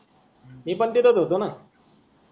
मी पण तेतच होतो न